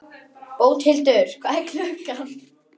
Bóthildur, hvað er klukkan?